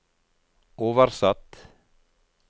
oversatt